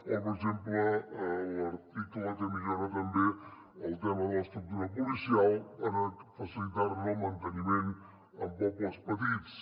o per exemple l’article que millora també el tema de l’estructura policial per facilitar ne el manteniment en pobles petits